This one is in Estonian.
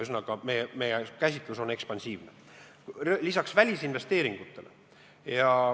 Ühesõnaga, meie käsitlus on ekspansiivne.